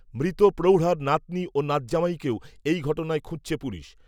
মৃত প্রৌঢার নাতনি ও নাতজামাইকেও এই ঘটনায় খুঁজছে পুলিশ